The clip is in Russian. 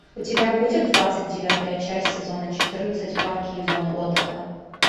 у тебя будет двадцать девятая часть сезона четырнадцать парки и зоны отдыха